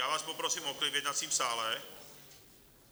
Já vás poprosím o klid v jednacím sále.